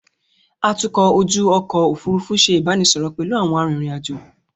Atukọ̀ ojú ọkọ̀ Òfurufú ṣe ìbánisọọ̀rọ̀ pẹ̀lú àwọn arìnrìn-àjò.